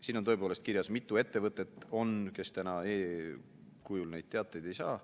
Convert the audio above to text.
Siin on tõepoolest kirjas, mitu ettevõtet on, kes täna e-kujul neid teateid ei saa.